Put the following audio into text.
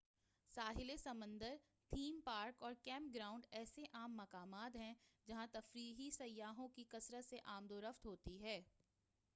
ساحل سمندر theme park اور camp ground ایسے عام مقامات ہیں جہاں تفریحی سیاحوں کی کثرت سے آمد و رفت ہوتی ہے